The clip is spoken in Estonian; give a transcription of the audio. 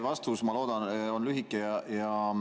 Vastus, ma loodan, on lühike.